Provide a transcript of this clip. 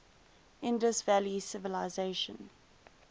indus valley civilisation